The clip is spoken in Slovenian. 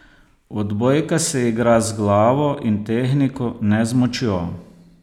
Odbojka se igra z glavo in tehniko, ne z močjo.